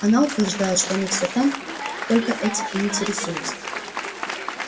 она утверждает что они всё там только этим и интересуются